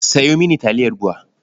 Sayo mini taliyar BUA.